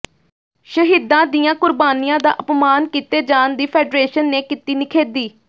ਸ਼ਹੀਦਾਂ ਦੀਆਂ ਕੁਰਬਾਨੀਆਂ ਦਾ ਅਪਮਾਨ ਕੀਤੇ ਜਾਣ ਦੀ ਫੈੱਡਰੇਸ਼ਨ ਨੇ ਕੀਤੀ ਨਿਖੇਧੀ